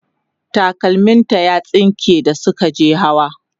takalmim ta ya tsinke da Suka je hawa